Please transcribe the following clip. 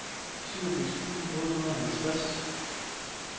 syvogfirs tusind otte hundrede og halvtreds